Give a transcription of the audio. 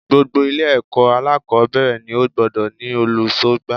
Gbogbo Ilé èkó alákòbéèrè ni ó gbodò ní olùsógbà